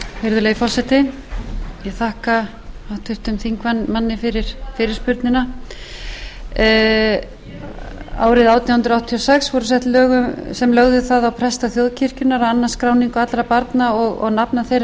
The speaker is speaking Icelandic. virðulegi forseti ég þakka háttvirtum þingmanni fyrir fyrirspurnina árið átján hundruð áttatíu og sex voru sett lög sem lögðu það á presta þjóðkirkjunnar að annast skráningu allra barna og nafna þeirra í kirkjubækur árið nítján hundruð fimmtíu og